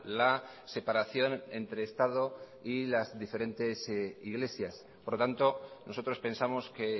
la separación entre estado y las diferentes iglesias por lo tanto nosotros pensamos que